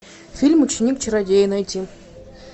фильм ученик чародея найти